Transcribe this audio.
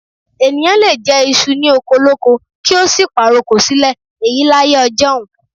Ènìyàn lè jẹ iṣu ní oko olóko kí ó sì pàrokò sílẹ̀, èyí láyé ọjọ́un.